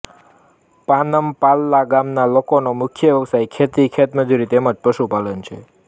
પાનમ પાલ્લા ગામના લોકોનો મુખ્ય વ્યવસાય ખેતી ખેતમજૂરી તેમ જ પશુપાલન છે